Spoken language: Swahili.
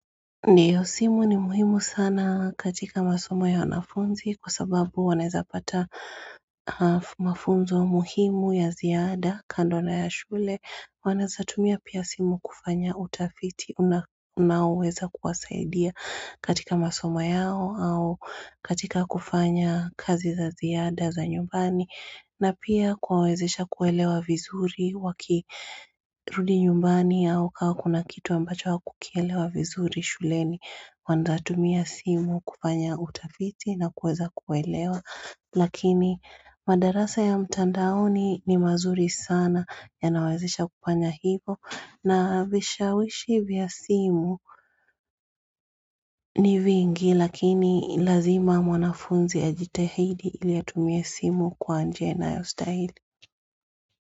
Ndiyo simu ni muhimu sana katika masomo ya wanafunzi kwa sababu wanawezapata mafunzo muhimu ya ziada kando na ya shule, wanaweza tumia pia simu kufanya utafiti unaoweza kuwasaidia katika masomo yao au katika kufanya kazi za ziada za nyumbani. Na pia kuwawezesha kuelewa vizuri wakirudi nyumbani au kama kuna kitu ambacho hawakukielewa vizuri shuleni. Wanawezatumia simu kufanya utafiti na kuweza kuelewa Lakini madarasa ya mtandaoni ni mazuri sana yanawezesha kufanya hivyo. Na vishawishi vya simu ni vingi lakini lazima mwanafunzi ajitahidi ili atumie simu kwa njia inayostahili.